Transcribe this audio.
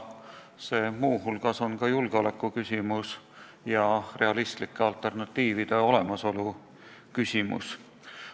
See on muu hulgas julgeolekuküsimus ja realistlike alternatiivide olemasolu küsimus.